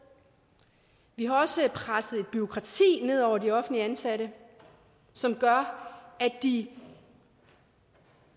vi har også presset et bureaukrati ned over de offentligt ansatte som gør at de